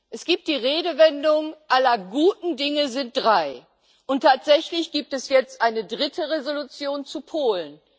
Es gibt die Redewendung Aller guten Dinge sind drei, und tatsächlich gibt es jetzt eine dritte Entschließung zu Polen.